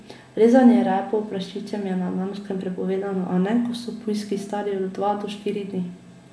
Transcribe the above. Rezanje repov prašičem je na Danskem prepovedano, a ne, ko so pujski stari od dva do štiri dni.